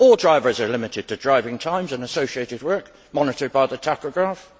All drivers are limited to driving times and associated work monitored by the tachograph.